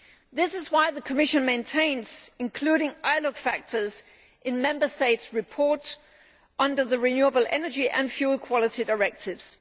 This is why the Commission maintains the inclusion of ILUC factors in Member States' reports under the Renewable Energy and Fuel Quality Directives.